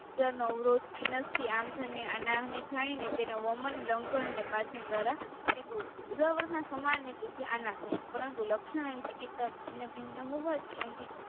નો અવરોધ ઈનસથી આંધને જાઈને તેના વોમન લંગન અને પાચન ધ્વારા ઉદ્દાવારના સમાનને થાય છે પરંતુ લક્ષણ અને ચીકીત્સા ભિન્ન ભિન્ન હોવાથી અહી